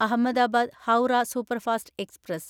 Ahmedabad Howrah superfast express